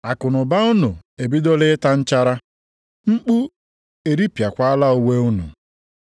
Akụnụba unu ebidola ịta nchara, mkpu eripịakwala uwe unu.